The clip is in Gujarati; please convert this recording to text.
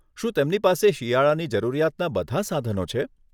શું તેમની પાસે શિયાળાની જરૂરિયાતના બધાં સાધનો છે?